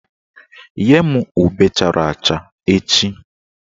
Nye m ube chara acha echi!